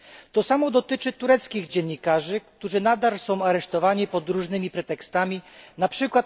To samo dotyczy tureckich dziennikarzy, którzy nadal są aresztowani pod różnymi pretekstami, np.